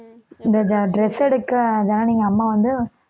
இந்த dress எடுக்க எங்க அம்மா வந்து